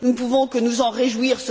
Nous ne pouvons que nous en réjouir